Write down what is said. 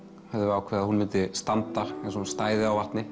ákveðið að hún myndi standa eins og hún stæði á vatni